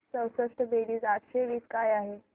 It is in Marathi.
चौसष्ट बेरीज आठशे वीस काय आहे